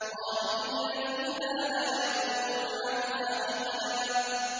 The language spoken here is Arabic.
خَالِدِينَ فِيهَا لَا يَبْغُونَ عَنْهَا حِوَلًا